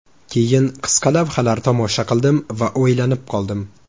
Keyin qisqa lavhalar tomosha qildim va o‘ylanib qoldim.